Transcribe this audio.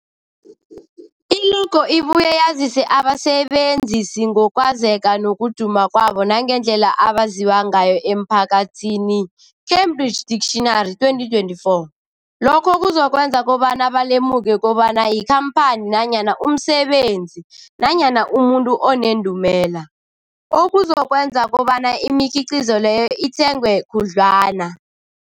I-logo ibuye yazise abasebenzisi ngokwazeka nokuduma kwabo nangendlela abaziwa ngayo emphakathini, Cambridge Dictionary 2024. Lokho kuzokwenza kobana balemuke kobana yikhamphani nanyana umsebenzi nanyana umuntu onendumela, okuzokwenza kobana imikhiqhizo leyo ithengwe khudlwana.